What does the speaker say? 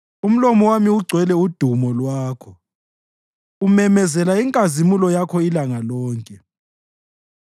Umlomo wami ugcwele udumo lwakho, umemezela inkazimulo yakho ilanga lonke.